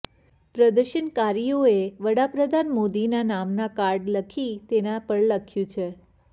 પ્રદર્શનકારીઓએ વડાપ્રધાન મોદીના નામના કાર્ડ લખી તેના પર લખ્યું છે